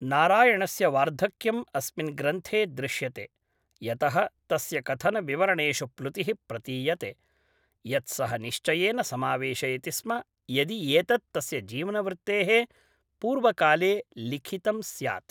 नारायणस्य वार्धक्यम् अस्मिन् ग्रन्थे दृश्यते, यतः तस्य कथनविवरणेषु प्लुतिः प्रतीयते, यत् सः निश्चयेन समावेशयति स्म यदि एतत् तस्य जीवनवृत्तेः पूर्वकाले लिखितम् स्यात्।